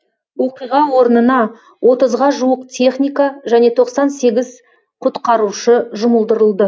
оқиға орнына отызға жуық техника және тоқсан сегіз құтқарушы жұмылдырылды